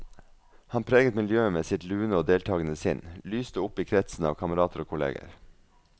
Han preget miljøet med sitt lune og deltagende sinn, lyste opp i kretsen av kamerater og kolleger.